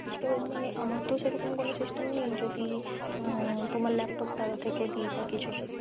ও মানে আমার তো সেরকম কোনো system নেই যদি তোমার laptop থেকে দি বা কিছু?